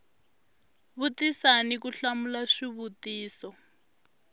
vutisa ni ku hlamula swivutiso